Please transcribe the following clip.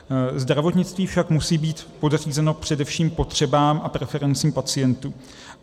Zdravotnictví však musí být podřízeno především potřebám a preferencím pacientů.